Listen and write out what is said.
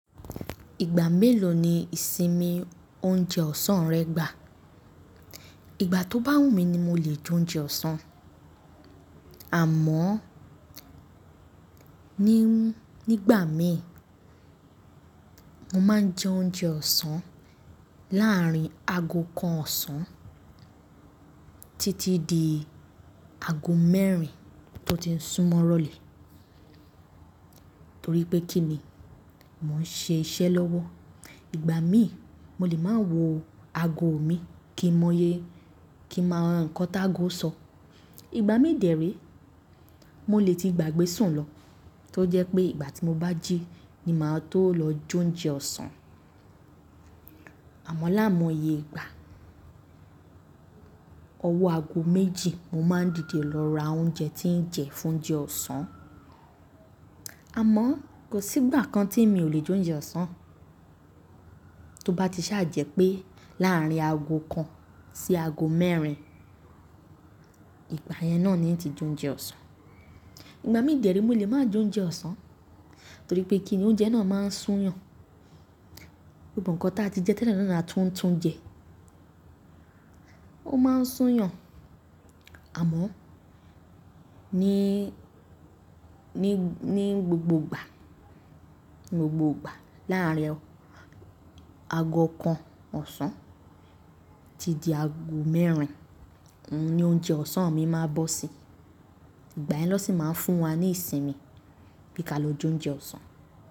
Ìgbà mélòó ni ìsinmi oúnjẹ ọ̀sán rẹ gbà? Ìgbà tó bá wù mí ni mo lè jẹ oúnjẹ ọ̀sán. Àmọ́ ní, nígbà mìí mo máa ń jẹ oúnjẹ ọ̀sán láàárín ago kan ọ̀sán títí di ago mẹ́rin tó ti sún mọ́ rọ̀lẹ́. Torí pé kíni? Mò ń ṣe iṣẹ́ lọ́wọ́. Ìgbà mí mo lè máa wo ago mi kí mọye kí máa nkan ti ágo sọ. Ìgbà mí dèré mo lè ti gbàgbé sùn lọ, tó jẹ́ pé ìgbà tí mo bá jí ni màá tó lọ jẹ oúnjẹ ọ̀sán. Àmọ́ lái moye ìgbà ọwọ́ ago méjì mo máa ń dìde lọ ra oúnjẹ tí ń jẹ fún oúnjẹ ọ̀sán. Àmọ́ kò sí ìgbà kan tí èmi ò lè jẹ oúnjẹ ọ̀sán. Tó bá ti ṣàjẹ́ pé láàárín ago kan sí ago mẹ́rin, ìgbà yẹn náà ni n ti jẹ oúnjẹ ọ̀sán. Ìgbà mí dèré mo lè máa jẹ oúnjẹ ọ̀sán torí pé kí ni oúnjẹ náà máa ń sún yàn. Gbogbo inkan tá ti jẹ tẹ́lẹ̀ náà la tún ń tún jẹ. Ó máa ń sún yàn. Àmọ́ ní, ní, ní gbogbo ìgbà, ní gbogbo ìgbà láàárín ago kan ọ̀sán títí ago mẹ́rin ni oúnjẹ ọ̀sán mi máa bọ́ sí. Ìgbà yẹn lọ sì máa ń fún wa ní ìsinmi bí ka lọ jẹ oúnjẹ ọ̀sán.